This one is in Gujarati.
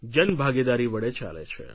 જનભાગીદારી વડે ચાલે છે